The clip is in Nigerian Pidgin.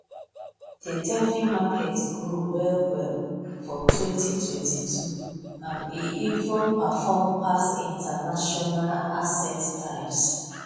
the defi market grow well well for 2022 and e even perform pass traditional asset types